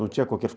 Não tinha